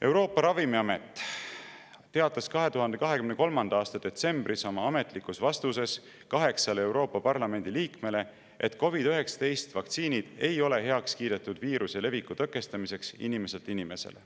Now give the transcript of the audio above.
Euroopa Ravimiamet teatas 2023. aasta detsembris oma ametlikus vastuses kaheksale Euroopa Parlamendi liikmele, et COVID‑19 vaktsiinid ei ole heaks kiidetud viiruse leviku tõkestamiseks inimeselt inimesele.